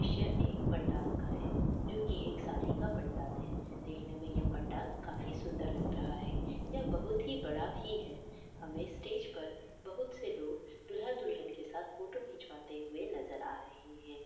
यह एक पंडाल का है जो की एक शादी का पंडाल है। देखने में यह पंडाल काफी सुन्दर लग रहा है। यह बहुत ही बड़ा ही है हमें स्टेज पर बहुत से लोग दूल्हा-दुल्हन के साथ फोटो खिचवाते हुए नजर आ रहे हैं।